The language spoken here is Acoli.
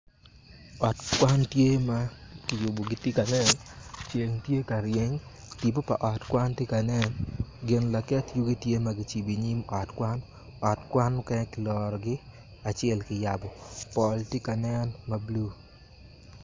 Ot kwan tye ma kiyubogi gitye ka nen ceng tye ka ryeny tipo pa ot tye kanen gin laket yugi tye ma kiketo i yim ot kwan ot kwan mukene tye ma kilorogi woko pol tye ka nen mabulu.